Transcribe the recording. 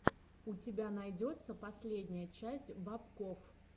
у тебя найдется последняя часть бобкофф